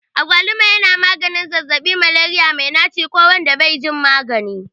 Agwaluma yana maganin zazzabin Malaria mai naci ko wanda bai jin magani.